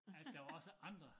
Han der var også andre